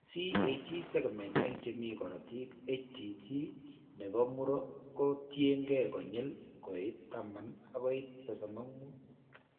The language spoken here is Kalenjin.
CAG segment eng' che mi korotiik HTT ne po muro ko ketyin konyil koit 10 akoi 35.